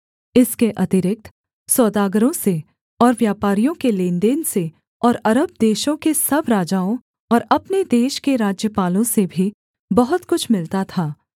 इसके अतिरिक्त सौदागरों से और व्यापारियों के लेनदेन से और अरब देशों के सब राजाओं और अपने देश के राज्यपालों से भी बहुत कुछ मिलता था